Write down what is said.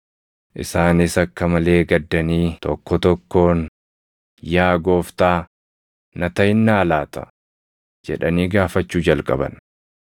Isaanis akka malee gaddanii tokko tokkoon, “Yaa Gooftaa, na taʼinnaa laata?” jedhanii gaafachuu jalqaban.